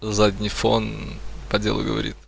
задний фон поделок